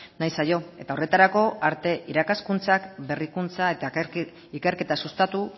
nahi zaio eta horretarako arte irakaskuntzak berrikuntza eta ikerketa sustatu